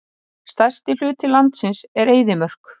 Stærsti hluti landsins er eyðimörk.